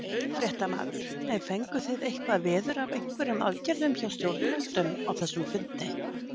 Fréttamaður: En fenguð þið eitthvað veður af einhverjum aðgerðum hjá stjórnvöldum á þessum fundi?